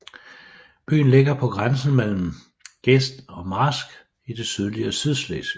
Byen ligger på grænsen mellem gest og marsk i det sydlige Sydslesvig